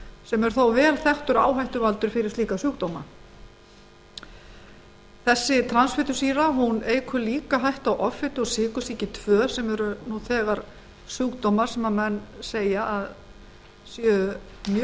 sem þó er vel þekktur áhættuvaldur fyrir slíka sjúkdóma transfitusýra eykur líka hættu á offitu og sykursýki tvö sem eru nú þegar sjúkdómar sem menn segja að fari mjög